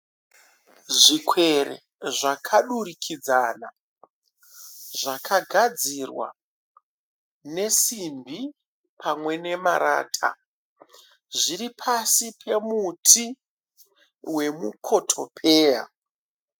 Zvikwere zvakadurikidzana zvakagadzirwa nesimbi pamwe nemarata, zviripasi pemuti wemukotopeya.